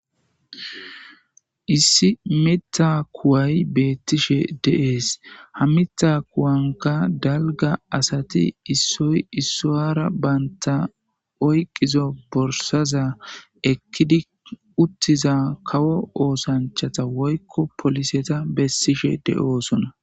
Issi miththa kuway betishshe de'es ha miththa kuwankka dalga asati issoy isuwara banta oyqizo borssaza kawo oosanchchata woyikko poliseta besishe de'osonna